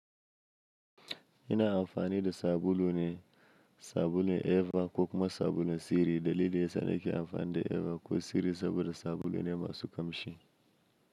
Ina amfani da sabulu ne, sabulun Eva ko kuma sabulun Siri. Dalili yasa nake amfani da Eva ko Siri saboda sabulu ne masu kamshi.